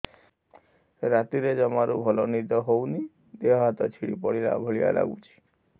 ରାତିରେ ଜମାରୁ ଭଲ ନିଦ ହଉନି ଦେହ ହାତ ଛିଡି ପଡିଲା ଭଳିଆ ଲାଗୁଚି